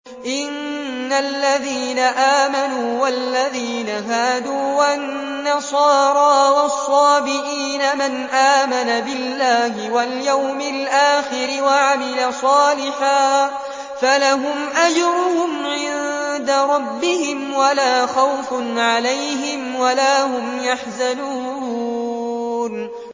إِنَّ الَّذِينَ آمَنُوا وَالَّذِينَ هَادُوا وَالنَّصَارَىٰ وَالصَّابِئِينَ مَنْ آمَنَ بِاللَّهِ وَالْيَوْمِ الْآخِرِ وَعَمِلَ صَالِحًا فَلَهُمْ أَجْرُهُمْ عِندَ رَبِّهِمْ وَلَا خَوْفٌ عَلَيْهِمْ وَلَا هُمْ يَحْزَنُونَ